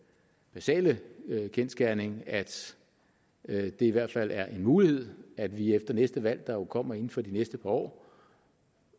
basale kendsgerning at det i hvert fald er en mulighed at vi efter næste valg der jo kommer inden for de næste par år